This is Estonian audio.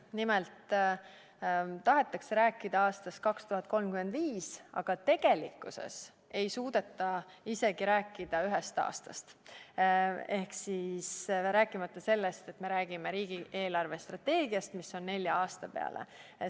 Nimelt tahetakse rääkida aastast 2035, aga tegelikkuses ei suudeta rääkida isegi ühest aastast, rääkimata sellest, et me räägiksime riigi eelarvestrateegiast, mis on tehtud nelja aasta peale.